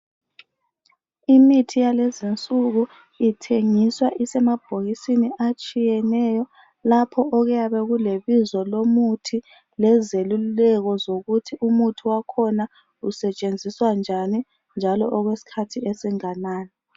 Imithi yalezinsuku ithengiswa isemabhokisini atshiyeneyo lapho okuyabe kulebizo lomuthi lezeluleko zokuthi umuthi wakhona usetshenziswa njani njalo okwesikhathi esinganani.